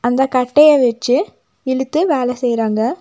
அந்த கட்டைய வெச்சு இழுத்து வேல செய்றாங்க.